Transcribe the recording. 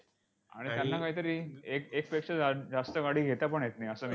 आणि त्यांना कायतरी एक एकपेक्षा जा जास्त गाडी घेतापण येत नाही, असं